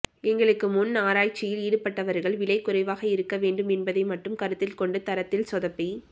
எங்களுக்கு முன்பு ஆராய்ச்சியில் ஈடுபட்டவர்கள் விலை குறைவாக இருக்கவேண்டும் என்பதை மட்டும் கருத்தில் கொண்டு தரத்தில் சொதப்பி